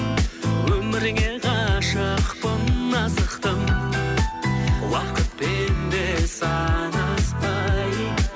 өмірге ғашықпын асықтым уақытпен де санаспай